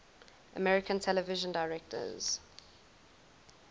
american television directors